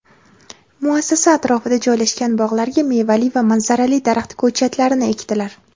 muassasa atrofida joylashgan bog‘larga mevali va manzarali daraxt ko‘chatlarini ekdilar.